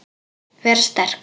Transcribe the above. Vera sterk.